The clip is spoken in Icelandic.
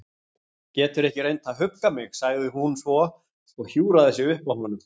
Geturðu ekki reynt að hugga mig- sagði hún svo og hjúfraði sig upp að honum.